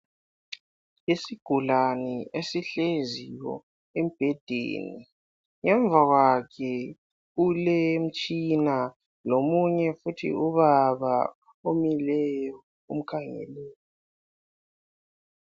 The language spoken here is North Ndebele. Isigulane esihleziyo embhedeni ngemva kwakhe kulemitshina lomunye futhi ubaba omileyo omkhangeleyo.